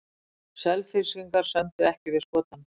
Selfyssingar sömdu ekki við Skotann